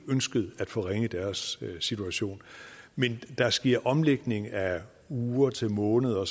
ønsket at forringe deres situation men der sker omlægning af uger til måneder